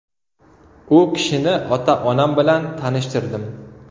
U kishini ota-onam bilan tanishtirdim.